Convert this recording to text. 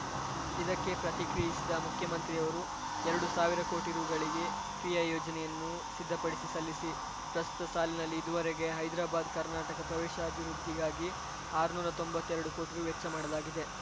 ಇದಕ್ಕೆ ಪ್ರತಿಕ್ರಿಯಿಸಿದ ಮುಖ್ಯಮಂತ್ರಿ ಅವರು ಎರಡು ಸಾವಿರ ಕೋಟಿ ರುಗಳಿಗೆ ಕ್ರಿಯಾ ಯೋಜನೆಯನ್ನು ಸಿದ್ಧಪಡಿಸಿ ಸಲ್ಲಿಸಿ ಪ್ರಸ್ತುತ ಸಾಲಿನಲ್ಲಿ ಇದುವರೆಗೆ ಹೈದ್ರಬಾದ್‌ ಕರ್ನಾಟಕ ಪ್ರದೇಶಾಭಿವೃದ್ಧಿಗಾಗಿ ಆರ್ನ್ನೂರಾ ತೊಂಬತ್ತೆರಡು ಕೋಟಿ ರು ವೆಚ್ಚ ಮಾಡಲಾಗಿದೆ